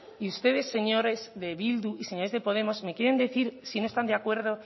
y ustedes señores de bildu y señores de podemos me quieren decir si no están de acuerdo